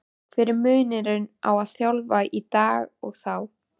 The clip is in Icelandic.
Hver er munurinn á að þjálfa í dag og þá?